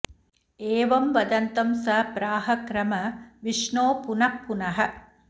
एवं वदन्तं स प्राह क्रम विष्णो पुनः पुनः